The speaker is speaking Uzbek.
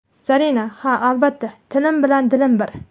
Zarina: Ha, albatta, tilim bilan dilim bir.